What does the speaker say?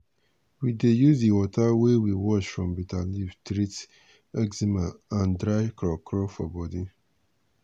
we dey use di water wey we wash from bitter leaf treat eczema and dry crawcraw for body.